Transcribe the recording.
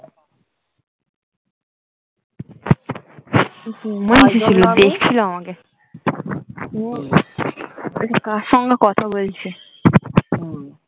দেখছিল আমাকে বলছে কার সঙ্গে কোথা বলছে